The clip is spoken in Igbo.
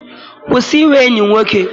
Kwụsị inwe enyi nwoke!